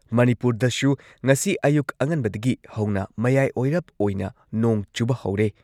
ꯃꯅꯤꯄꯨꯔꯗꯁꯨ ꯉꯁꯤ ꯑꯌꯨꯛ ꯑꯉꯟꯕꯗꯒꯤ ꯍꯧꯅ ꯃꯌꯥꯏ ꯑꯣꯏꯔꯞ ꯑꯣꯏꯅ ꯅꯣꯡ ꯆꯨꯕ ꯍꯧꯔꯦ ꯫